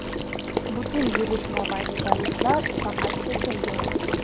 Butun yurish mobaynida ruslar faqat chekindi.